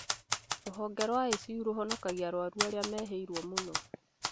Rũhonge rwa ICU rũhonokagia maica ma arwaru arĩa mehĩirwo mũno